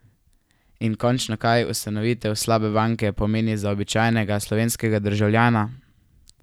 In končno, kaj ustanovitev slabe banke pomeni za običajnega slovenskega državljana?